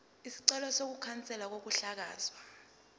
isicelo sokukhanselwa kokuhlakazwa